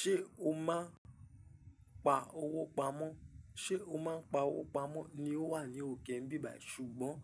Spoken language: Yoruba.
Ṣé o máa ń pa owó pamọ́? Ṣé o máa ń pa owó pamọ́ ni ó wà ní òkè nbíbà. Ṣùgbọ́n